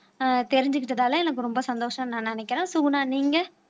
ஆஹ் தெரிஞ்சுக்கிட்டதால எனக்கு ரொம்ப சந்தோஷம் நான் நினைக்கிறேன் சுகுணா நீங்க